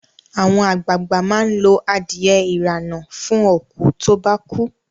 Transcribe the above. Àwọn àgbàag̀bà máa lo adiye ìrànà fún òkú to bá kú